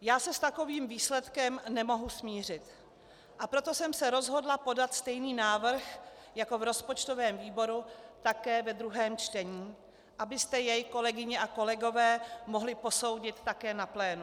Já se s takovým výsledkem nemohu smířit, a proto jsem se rozhodla podat stejný návrh jako v rozpočtovém výboru také ve druhém čtení, abyste jej, kolegyně a kolegové, mohli posoudit také na plénu.